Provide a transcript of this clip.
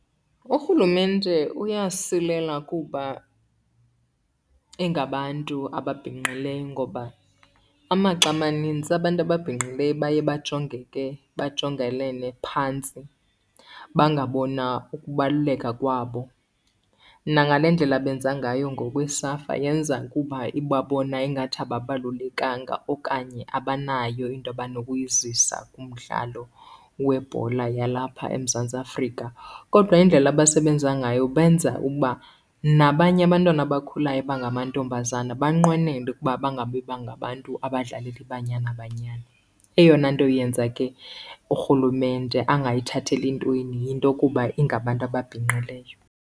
URhulumente uyasilela kuba ingabantu ababhinqileyo, ngoba amaxa amanintsi abantu ababhinqileyo baye bajongeke bajongelene phantsi, bangabonwa ukubaluleka kwabo. Nangale ndlela benza ngayo ngoku iSAFA yenza kuba ibabona ingathi ababalulekanga okanye abanayo into abanokuyizisa kumdlalo webhola yalapha eMzantsi Afrika. Kodwa indlela abasebenza ngayo benza uba nabanye abantwana abakhulayo abangamantombazana banqwenele ukuba bangabi bangabantu abadlalela iBanyana Banyana. Eyona nto yenza ke uRhulumente angayithatheli ntweni yinto kuba ingabantu ababhinqileyo.